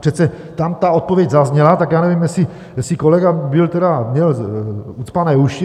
Přece tam ta odpověď zazněla, tak já nevím, jestli kolega měl ucpané uši.